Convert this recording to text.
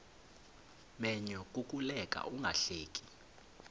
menyo kukuleka ungahleki